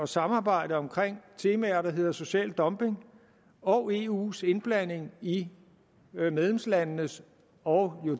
samarbejde om temaer der hedder social dumping og eus indblanding i medlemslandenes og